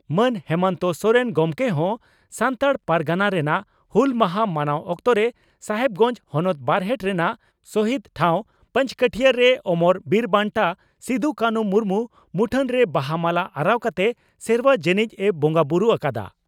ᱢᱟᱱ ᱦᱮᱢᱚᱱᱛᱚ ᱥᱚᱨᱮᱱ ᱜᱚᱢᱠᱮ ᱦᱚᱸᱥᱟᱱᱛᱟᱲ ᱯᱟᱨᱜᱟᱱᱟ ᱨᱮᱱᱟᱜ ᱦᱩᱞ ᱢᱟᱦᱟᱸ ᱢᱟᱱᱟᱣ ᱚᱠᱛᱚᱨᱮ ᱥᱟᱦᱟᱵᱽᱜᱚᱸᱡᱽ ᱦᱚᱱᱚᱛ ᱵᱚᱨᱦᱮᱴ ᱨᱮᱱᱟᱜ ᱥᱚᱦᱤᱫᱽ ᱴᱷᱟᱣ ᱯᱚᱪᱠᱟᱹᱴᱷᱤᱭᱟᱹ ᱨᱮ ᱳᱢᱳᱨ ᱵᱤᱨ ᱵᱟᱱᱴᱟ ᱥᱤᱫᱩ ᱠᱟᱱᱦᱩ ᱢᱩᱨᱢᱩ ᱢᱩᱴᱷᱟᱹᱱᱨᱮ ᱵᱟᱦᱟ ᱢᱟᱞᱟ ᱟᱨᱟᱣ ᱠᱟᱛᱮ ᱥᱮᱨᱚᱣᱟ ᱡᱟᱹᱱᱤᱡ ᱮ ᱵᱚᱸᱜᱟ ᱵᱩᱨᱩ ᱟᱠᱟᱫᱼᱟ ᱾